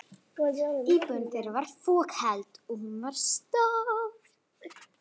Íbúðin þeirra var fokheld, og hún var stór.